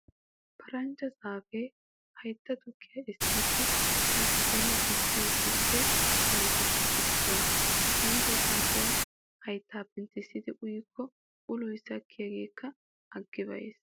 Paranjja zaafee haytta tukkiyaa essiiddi a giddon gujjiyo tukke xaletuppe issuwaa. Paranjja zaafiyaa hayttaa penttissidi uykko uloy sakkiyaageekka aggi be"ees.